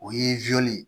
O ye ye